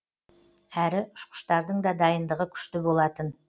әрі ұшқыштардың да дайындығы күшті болатын